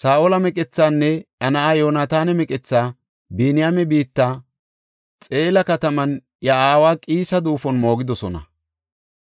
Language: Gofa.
Saa7ola meqethaanne iya na7aa Yoonataana meqethaa Biniyaame biittan Xela kataman iya aawa Qiisa duufuwan moogidosona.